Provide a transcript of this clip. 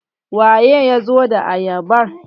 waye ya zo da ayabar?